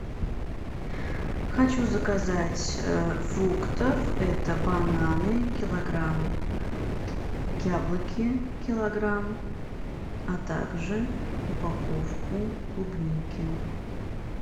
хочу заказать фруктов это бананы килограмм яблоки килограмм а также упаковку клубники